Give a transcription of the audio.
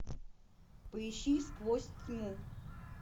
поищи сквозь тьму